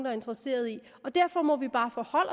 er interesseret i derfor må vi bare forholde